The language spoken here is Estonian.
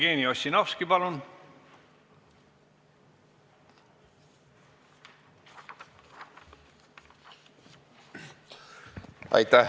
Jevgeni Ossinovski, palun!